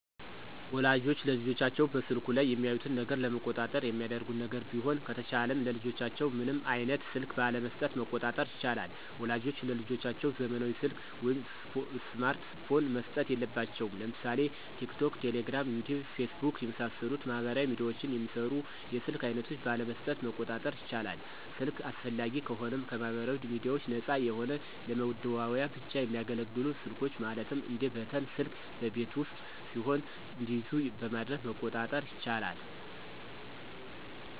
ወላጆች ልጆቻቸውን በስልኩ ላይ የሚያዩትን ነገር ለመቆጣጠር የሚያደርጉት ነገር ቢሆን ከተቻለም ለልጆቻቸው ምንም አይነት ስልክ ባለመሥጠት መቆጣጠር ይቻላል። ወላጆች ለልጆቻቸው ዘመናዊ ሰልክ ወይም ስማርት ፖን መስጠት የለባቸውም። ለምሳሌ ቲክቶክ፣ ቴሌግራም፣ ዩቲዩብ፣ ፌስቡክ የመሣሠሉትን ማህበራዊ ሚድያዎችን የሚሰሩ የስልክ አይነቶች ባለመስጠት መቆጣጠር ይቻላል። ስልክ አስፈላጊ ከሆነም ከማህበራዊ ሚድያዎች ነፃ የሆነ ለመደዋወያ ብቻ የሚያገለግሉ ስልኮች ማለትም እንደ በተን ስልክ በቤት ውስጥ ሲሆኑ እንዲይዙ በማድረግ መቆጣጠር ይቻላል።